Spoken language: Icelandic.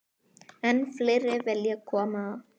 Enn fleiri vilja koma.